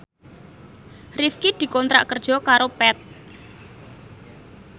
Rifqi dikontrak kerja karo Path